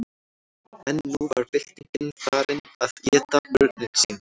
en nú var byltingin farin að éta börnin sín